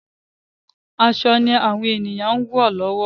Aṣọ ni àwọn èyàn ń ewọ lọ́wọ́.